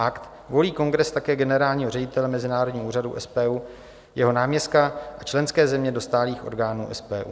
Akt volí kongres také generálního ředitele Mezinárodního úřadu SPU, jeho náměstka a členské země do stálých orgánů SPU.